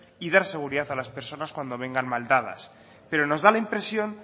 y dar seguridad a las personas cuando vengan mal dadas pero nos da la impresión